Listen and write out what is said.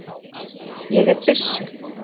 Ég er byssu